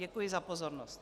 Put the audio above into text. Děkuji za pozornost.